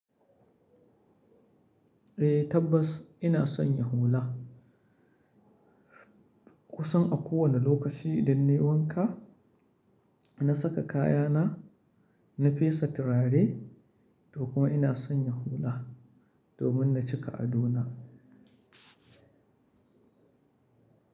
Eh tabbas ina sanya hula. Kusan a kowane lokaci idan ni wanka, na saka kayana, na fesa turare, to kuma ina sanya hula domin na cika ado na.